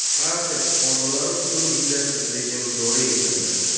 Fransiya fuqarolari uchun vizasiz rejim joriy etildi.